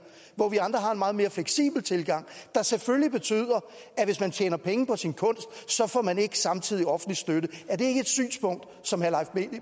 hvor vi andre har en meget mere fleksibel tilgang der selvfølgelig betyder at hvis man tjener penge på sin kunst får man ikke samtidig offentlig støtte er det ikke et synspunkt som herre leif